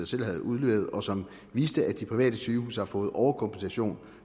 selv havde udleveret og som viste at de private sygehuse har fået overkompensation